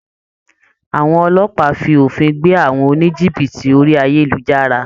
Àwọn Ọlọ́pàá fi òfin gbé àwọn oníjìbìtì orí ayélujára